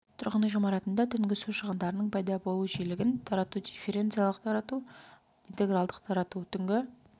тұрғын үй ғимаратында түнгі су шығындарының пайда болу жиілігін тарату дифференциалдық тарату интегралдық тарату түнгі